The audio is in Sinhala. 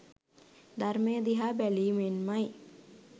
ධර්මය දිහා බැලීමෙන්මයි